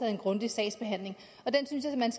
en grundig sagsbehandling og den synes jeg man